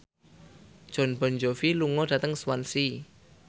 Jon Bon Jovi lunga dhateng Swansea